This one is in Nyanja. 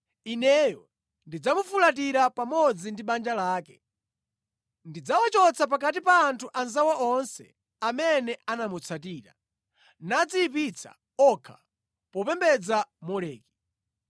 Ineyo ndidzamufulatira pamodzi ndi banja lake. Ndidzawachotsa pakati pa anthu anzawo onse amene anamutsatira, nadziyipitsa okha popembedza Moleki.”